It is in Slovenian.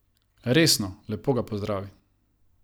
Resno, lepo ga pozdravi.